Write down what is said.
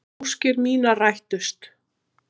Óskir mínar rættust.